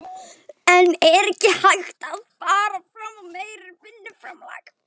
En er ekki hægt að fara fram á meira vinnuframlag?